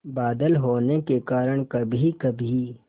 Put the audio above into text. बादल होने के कारण कभीकभी